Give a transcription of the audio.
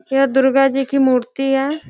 यह दुर्गा जी की मूर्ति है |